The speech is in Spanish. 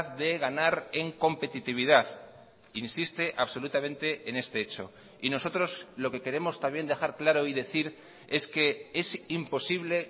de ganar en competitividad insiste absolutamente en este hecho y nosotros lo que queremos también dejar claro y decir es que es imposible